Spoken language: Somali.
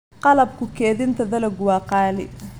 Qalabka kaydinta dalaggu waa qaali.